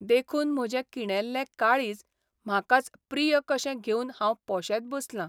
देखून म्हजें किणेल्ले काळीज म्हाकाच प्रिय कशें घेवन हांव पोशेत बसलां.